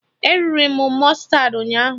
E riri m mụstardị ụnyaahụ